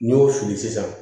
N'i y'o fili sisan